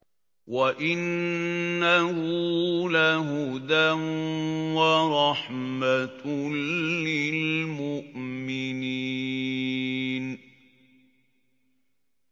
وَإِنَّهُ لَهُدًى وَرَحْمَةٌ لِّلْمُؤْمِنِينَ